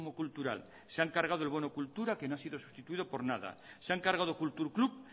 cultural se han cargado el bono cultura que no ha sido sustituido por nada se han cargado kultur klub